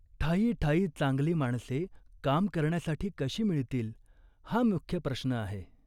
ठायी ठायी चांगली माणसे काम करण्यासाठी कशी मिळतील हा मुख्य प्रश्न आहे.